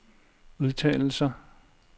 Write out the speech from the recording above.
udtalelser